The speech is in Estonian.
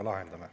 Palun!